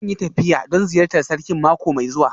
Zan yi tafiya don ziyartar Sarkin mako mai zuwa